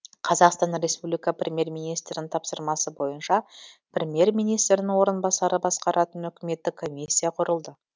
қазақстан республика премьер министрінің тапсырмасы бойынша премьер министрдің орынбасары басқаратын үкіметтік комиссия құрылды